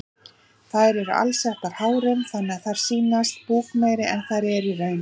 Þær eru alsettar hárum þannig að þær sýnast búkmeiri en þær eru í raun.